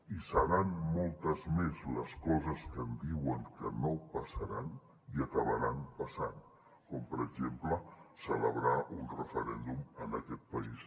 i seran moltes més les coses que em diuen que no passaran i acabaran passant com per exemple celebrar un referèndum en aquest país